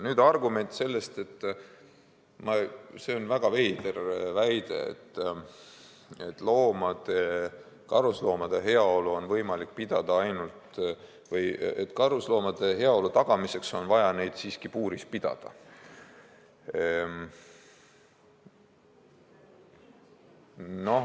Nüüd, see on väga veider väide, et karusloomade heaolu on võimalik tagada ainult siis, kui neid puuris pidada.